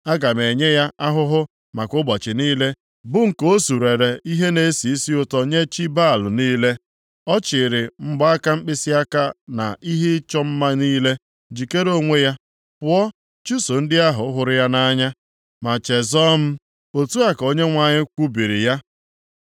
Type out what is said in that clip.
Aga m enye ya ahụhụ maka ụbọchị niile bụ nke o surere ihe na-esi isi ụtọ nye chi Baal niile, ọ chịrị mgbaaka mkpịsịaka na ihe ịchọ mma niile, jikere onwe ya, pụọ chụso ndị ahụ hụrụ ya nʼanya, ma chezọọ m,” Otu a ka Onyenwe anyị kwubiri ya.